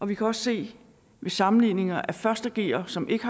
vi kan også se ved sammenligninger af første gere som ikke